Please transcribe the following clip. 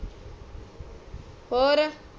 ਔਰ